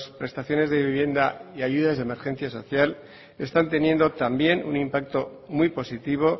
prestaciones de vivienda y ayudas de emergencia social está teniendo también un impacto muy positivo